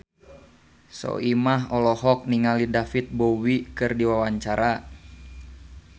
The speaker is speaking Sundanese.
Soimah olohok ningali David Bowie keur diwawancara